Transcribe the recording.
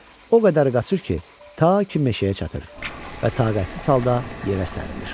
O qədər qaçır ki, ta ki meşəyə çatır və taqətsiz halda yerə sərilir.